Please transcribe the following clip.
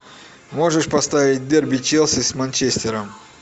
можешь поставить дерби челси с манчестером